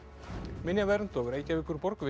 minjavernd og Reykjavíkurborg vinna